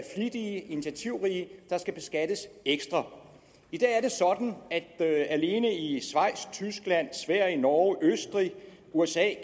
initiativrige der skal beskattes ekstra i dag er det sådan at der alene i schweiz tyskland sverige norge østrig usa